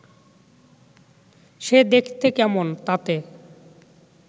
সে দেখতে কেমন, তাতে